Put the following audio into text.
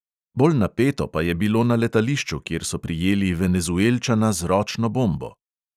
Bolj napeto pa je bilo na letališču, kjer so prijeli venezuelčana z ročno bombo.